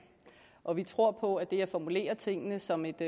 og vi tror på at det at formulere tingene som et